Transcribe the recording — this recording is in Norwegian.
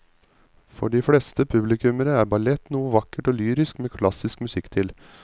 For de fleste publikummere er ballett noe vakkert og lyrisk med klassisk musikk til.